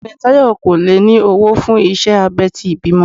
Ọgbẹni Tayo ko le ni owo fun iṣẹ abé ti ìbímo